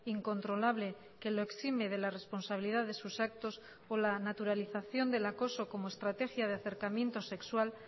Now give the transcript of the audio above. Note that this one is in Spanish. incontrolable que lo exime de la responsabilidad de sus actos o la naturalización del acoso como estrategia de acercamiento sexual